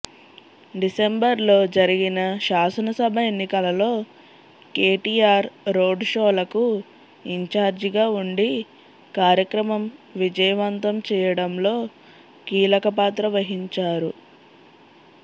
డిసెంబర్లో జరిగిన శాసనసభ ఎన్నికలలో కేటీఆర్ రోడ్ షోలకు ఇన్చార్జిగా ఉండి కార్యక్రమం విజయవంతం చేయడంలో కీలక పాత్ర వహించారు